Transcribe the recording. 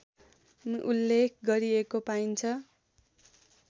उल्लेख गरिएको पाइन्छ